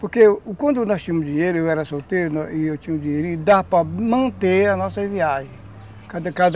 Porque quando nós tínhamos dinheiro, eu era solteiro e eu tinha dinheirinho, dava para manter a nossa viagem